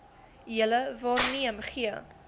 julle waarneem gee